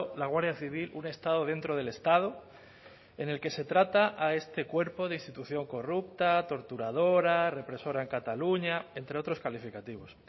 la guardia civil un estado dentro del estado en el que se trata a este cuerpo de institución corrupta torturadora represora en cataluña entre otros calificativos